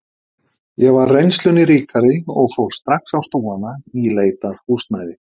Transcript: Ég var reynslunni ríkari og fór strax á stúfana í leit að húsnæði.